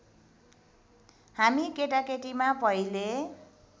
हामी केटाकेटीमा पहिले